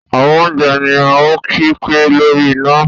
àwọn oúnjẹ ní o kí pé lórí iná